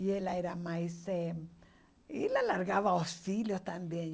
E ela era mais eh Ela largava os filhos também